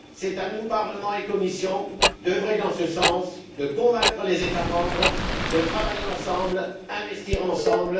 C'est à nous, Parlement et Commission, d'œuvrer en ce sens, de convaincre les États membres de travailler ensemble, d'investir ensemble.